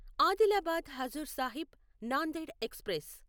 Adilabad Hazur Sahib Nanded express